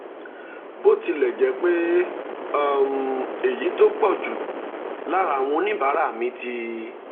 bó tilẹ̀ jẹ́ pé um èyí tó um pọ̀ jù lára àwọn oníbàárà mi ti